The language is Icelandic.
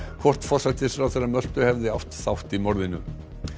hvort forsætisráðherra Möltu hefði átt þátt í morðinu